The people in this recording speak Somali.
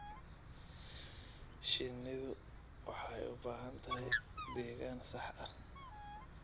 Shinnidu waxay u baahan tahay deegaan sax ah.